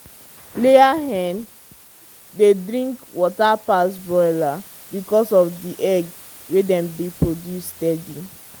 layer hen dey drink water pass broiler because of the egg wey dem dey produce steady.